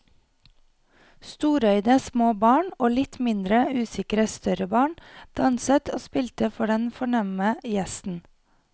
Storøyde små barn og litt mindre usikre større barn danset og spilte for den fornemme gjesten.